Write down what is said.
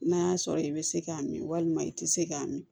N'a y'a sɔrɔ i bɛ se k'a min walima i tɛ se k'a min